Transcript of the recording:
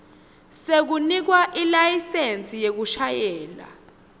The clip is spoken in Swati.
sekunikwa ilayisensi yekushayela